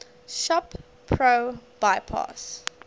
shop pro bypass